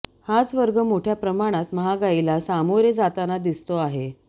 हाच वर्ग मोठय़ा प्रमाणात महागाईला सामोरे जाताना दिसतो आहे